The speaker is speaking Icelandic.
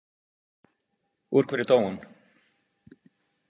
Úr hverju dó hún?